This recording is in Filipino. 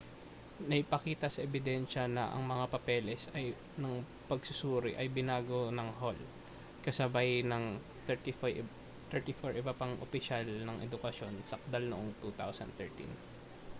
naipakita sa ebidensya na ang mga papeles ng pagsusuri ay binago ng hall kasabay ng 34 iba pang opisyal ng edukasyon sakdal noong 2013